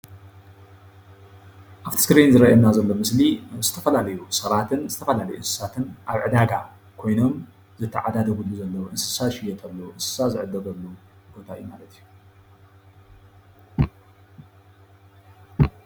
ኣብቲ እስክሪን ዝረኦይና ዘለዉ ምስሊ ዝተፈላለዩ ሰባት ዝተፈላለዩ እንስሳትን ኣብ ዕዳጋ ኮይኖም ዝትዓዳደግሉ ዘለዉ እንስሳ ዝሽየጥሉ እንስሳ ዝዕደገሉ ቦታ ማለት እዩ፡፡